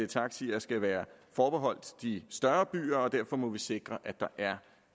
taxier skal være forbeholdt de større byer og derfor må vi sikre at der er